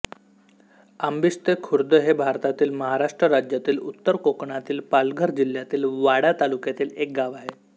आंबिस्तेखुर्द हे भारतातील महाराष्ट्र राज्यातील उत्तर कोकणातील पालघर जिल्ह्यातील वाडा तालुक्यातील एक गाव आहे